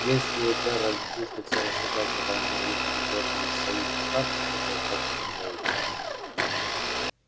если джералд пустится рассуждать о войне и выходе джорджии из союза штатов этого хватит на целый час